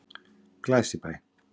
Glæsibæ